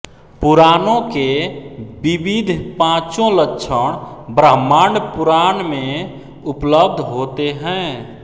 पुराणों के विविध पांचों लक्षण ब्रह्माण्ड पुराण में उपलब्ध होते हैं